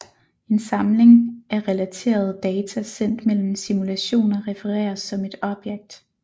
En samling af relaterede data sendt mellem simulationer refereres som et object